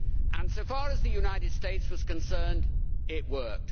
As far as the United States was concerned, it worked.